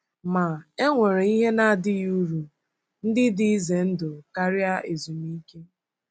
Ma, e nwere ihe na-adịghị uru ndị dị ize ndụ karịa ezumike.